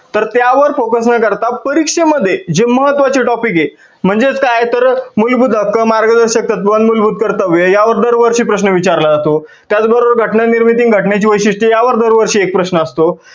तर त्यावर focus न करता परीक्षेमध्ये जे महात्व्वाचे topic आहे, म्हणजेच काय तर मुलभूत हक्क, मार्गदर्शक तत्त्व, मुलभूत कर्तव्ये यावर दर वर्षी प्रश्न विचारला जातो त्याच बरोबर घटना निर्मिती आणि घटना ची वैशिष्ठ्ये या वर दर वर्षी एक प्रश्न असतो.